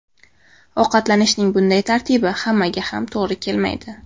Ovqatlanishning bunday tartibi hammaga ham to‘g‘ri kelmaydi.